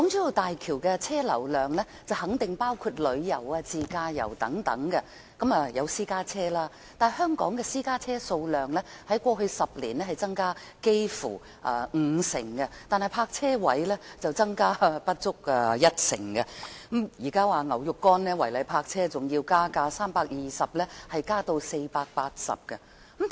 大橋的車流量肯定包括用作自駕遊的私家車，但香港的私家車數量在過去10年增加接近五成，但泊車位卻增加不足一成，現時違例泊車罰款更由320元上調至480元。